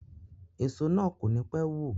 Èso na kò ní pé wù.